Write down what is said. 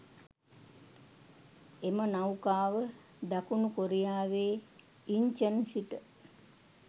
එම නෞකාව දකුණු කොරියාවේ ඉන්චන් සිට